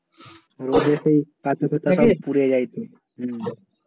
রোদে সেই পুরে যায় সে হম